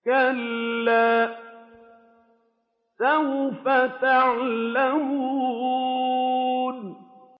كَلَّا سَوْفَ تَعْلَمُونَ